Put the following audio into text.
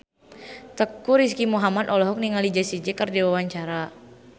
Teuku Rizky Muhammad olohok ningali Jessie J keur diwawancara